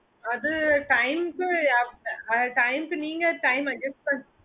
அது time க்கு நீங்க time adjust